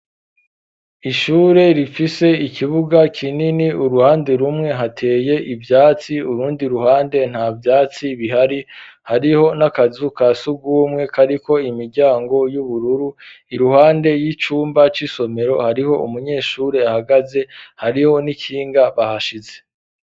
Ishure rifise ikibuga kinini ,uruhande rumwe hateye ivyatsi, urundi ruhande nta vyatsi bihari, hariho n'akazu ka sugumwe kariko imiryango y'ubururu ,iruhande y'icumba c'isomero hariho umunyeshuri ahagaze hariho n'ikinga bahashize.